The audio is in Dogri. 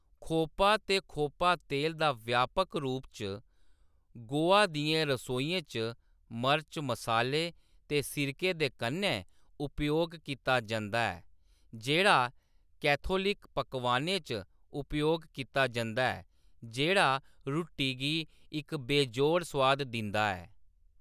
खोपा ते खोपा तेल दा व्यापक रूप च गोआ दियें रसोइयें च मर्च, मसाले ते सिरके दे कन्नै उपयोग कीता जंदा ऐ, जेह्‌‌ड़ा कैथोलिक पकवानें च उपयोग कीता जंदा ऐ, जेह्‌‌ड़ा रुट्टी गी इक बेजोड़ स्वाद दिंदा ऐ।